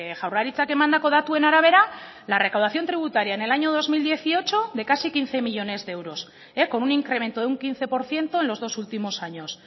jaurlaritzak emandako datuen arabera la recaudación tributaria en el año dos mil dieciocho de casi quince millónes de euros con un incremento de un quince por ciento en los dos últimos años